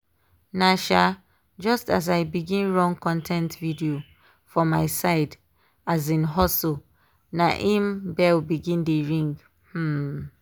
na um just as i begin run con ten t video for my side um hustle na im bell begin dey ring. um